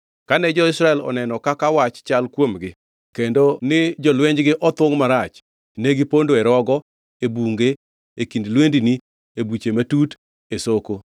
Kane jo-Israel oneno kaka wach chal kuomgi kendo ni jolwenjgi othungʼ marach, ne gipondo e rogo, e bunge, e kind lwendni, e buche matut, e soko.